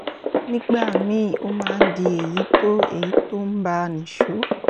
nígbà míì ó máa ń di èyí tó èyí tó ń bá a nìṣó